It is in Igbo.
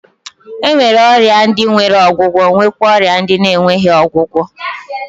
E nwere ọrịa ndi nwere ọgwụgwọ nwekwa ọrịa ndị na-enweghị ọgwụgwọ.